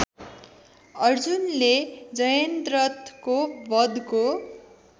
अर्जुनले जयन्द्रथको वधको